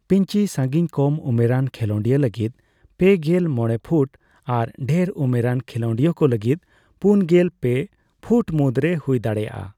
Pitching ᱥᱟᱸᱜᱤᱧ ᱠᱚᱢ ᱩᱢᱮᱨᱟᱱ ᱠᱷᱮᱞᱚᱸᱰᱤᱭᱟᱹ ᱞᱟᱹᱜᱤᱫ ᱯᱮᱜᱮᱞ ᱢᱚᱲᱮ ᱯᱷᱩᱴ ᱟᱨ ᱰᱷᱮᱨ ᱩᱢᱮᱨᱟᱱ ᱠᱷᱤᱞᱚᱸᱰᱤᱭᱟᱹ ᱠᱚ ᱞᱟᱹᱜᱤᱫ ᱯᱩᱱᱜᱮᱞ ᱯᱮ ᱯᱷᱩᱴ ᱢᱩᱫᱽᱨᱮ ᱦᱩᱭ ᱫᱟᱲᱮᱭᱟᱜᱼᱟ ᱾